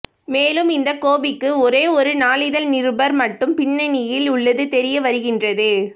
மேலும் இந்த கோபிக்கு ஒரே ஒரு நாளிதழ் நிருபர் மட்டும் பின்னணியில் உள்ளது தெரியவருகின்றது